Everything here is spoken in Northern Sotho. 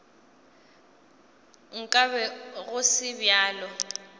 nka be go se bjalo